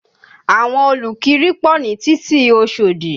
Àwọn olùkiri pọ̀ ní títì Oṣòdì